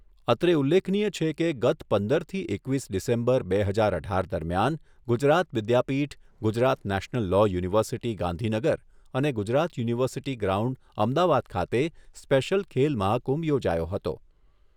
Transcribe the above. અત્રે ઉલ્લેખનીય છે કે, ગત પંદરથી એકવીસ ડિસેમ્બર, બે હજાર અઢાર દરમિયાન Gujarat Vidyapith, Gujarat national law university Gandhinagar અને ગુજરાત યુનિવર્સિટી ગ્રાઉન્ડ અમદાવાદ ખાતે, સ્પેશિયલ ખેલ મહાકુંભ યોજાયો હતો.